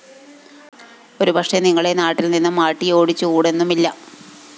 ഒരു പക്ഷേ നിങ്ങളെ നാട്ടില്‍ നിന്നും ആട്ടിയോടിച്ചുകൂടെന്നുമില്ല